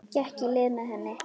Gekk í lið með henni.